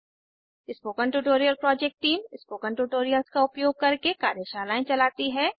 spoken tutorial project team spoken tutorials का उपयोग करके कार्यशालाएं चलाती है